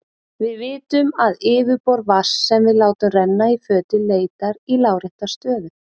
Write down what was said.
Við vitum að yfirborð vatns sem við látum renna í fötu leitar í lárétta stöðu.